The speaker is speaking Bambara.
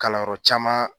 Kalanyɔrɔ caman